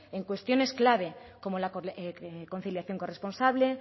en cuestiones clave como la conciliación corresponsable